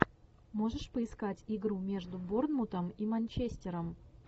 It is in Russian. можешь поискать игру между борнмутом и манчестером